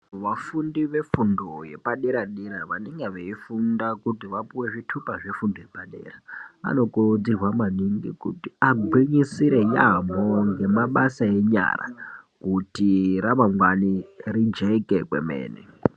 Vafundi vefundo yepadera dera vanenge veifunda kuti vapuwe zvitupa zvefundo yepadera dera vanokurudzirwa maningi kuti vagwinyisire yamho ngemabasa enyara kuti ramangwani rijeke kwemene.